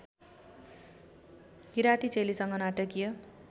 किराती चेलीसँग नाटकीय